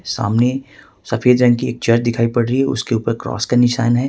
सामने सफेद रंग की चर्च दिखाई पड़ रही है उसके ऊपर क्रॉस का निशान है।